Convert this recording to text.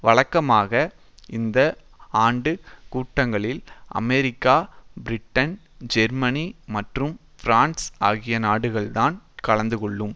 வழக்கமாக இந்த ஆண்டு கூட்டங்களில் அமெரிக்கா பிரிட்டன் ஜெர்மனி மற்றும் பிரான்ஸ் ஆகிய நாடுகள்தான் கலந்துகொள்ளும்